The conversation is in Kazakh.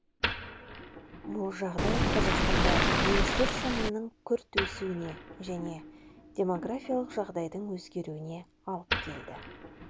бұл жағдай қазақстанда немістер санының күрт өсуіне және демографиялық жағдайдың өзгеруіне алып келді